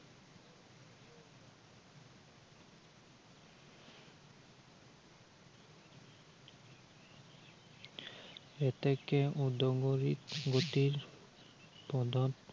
এতেকে উদঙৰী গতিৰ ফলত